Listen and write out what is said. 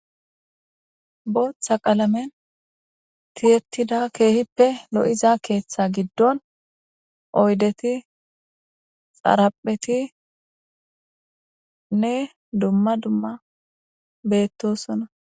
bootha qalamen tiyettida keehippe lo7iza keeththa giddon oydeti xaraphetinne dumma dumma beettosona